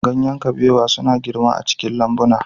Ganyen kabewa suna girma a cikin lambuna.